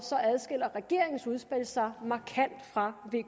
adskiller regeringens udspil sig markant fra